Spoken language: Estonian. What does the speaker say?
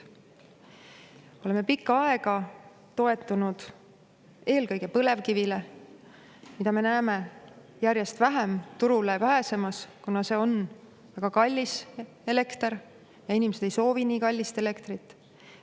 Me oleme pikka aega toetunud eelkõige põlevkivile, mida me näeme järjest vähem turule pääsemas, kuna see on väga kallis elekter ja inimesed ei soovi nii kallist elektrit.